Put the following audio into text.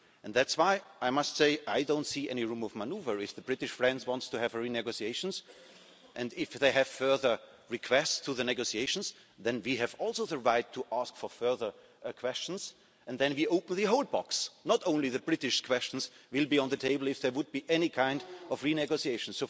That's why I must say that I don't see any room for manoeuvre if our British friends want to have renegotiations, and if they have further requests in the negotiations then we have also the right to ask further questions and then we open the whole box not only the British questions would be on the table if there were to be any kind of renegotiation.